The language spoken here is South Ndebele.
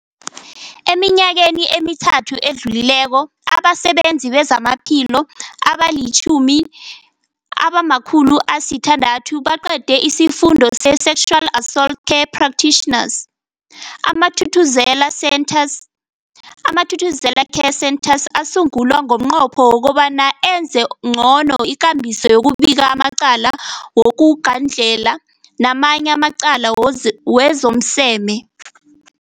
Eminyakeni emithathu edluleko, abasebenzi bezamaphilo abali-10, abama-600 baqede isiFundo se-Sexual Assault Care Practitioners. AmaThuthuzela Centres, Amathuthuzela Care Centres asungulwa ngomnqopho wokobana enze ncono ikambiso yokubika amacala wokugandlela namanye amacala wezomseme.